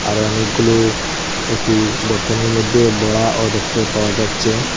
আরও অনেকগুলো একটি বরতনের মধ্যে বড়াও দেখতে পাওয়া যাচ্ছে।